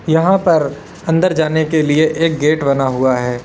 यहां पर अंदर जाने के लिए एक गेट बना हुआ है।